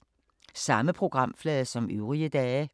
Samme programflade som øvrige dage